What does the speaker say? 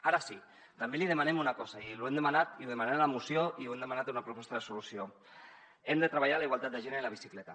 ara sí també li demanem una cosa i ho hem demanat i ho demanem en la moció i ho hem demanat en una proposta de resolució hem de treballar la igualtat de gènere en la bicicleta